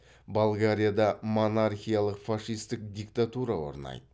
болгарияда монархиялық фашистік диктатура орнайды